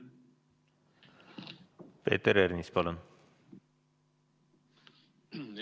Peeter Ernits, palun!